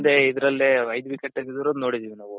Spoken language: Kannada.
ಒಂದೇ ಇದ್ರಲ್ಲೆ ಐದು wicket ತಗ್ದಿರದು ನೋಡಿದೀವಿ ನಾವು